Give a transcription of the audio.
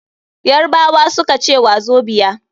Yarbawa suka ce wazobia.